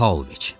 Pauloviç.